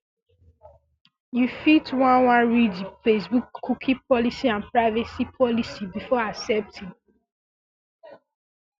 um you fit wan wan read di facebookcookie policyandprivacy policy before accepting